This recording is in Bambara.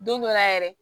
Don dɔ la yɛrɛ